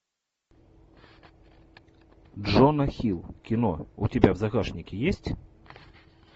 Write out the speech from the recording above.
джона хилл кино у тебя в загашнике есть